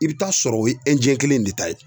I bɛ taa sɔrɔ o ye kelen in de ta ye